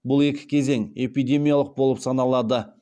бұл екі кезең эпидемиялық болып саналады